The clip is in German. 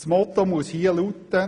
Das Motto muss hier lauten: